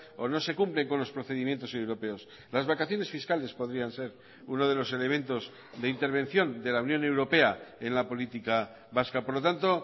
o no se cumplen con los procedimientos europeos las vacaciones fiscales podrían ser uno de los elementos de intervención de la unión europea en la política vasca por lo tanto